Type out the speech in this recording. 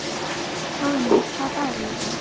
Hróðný, hvaða dagur er í dag?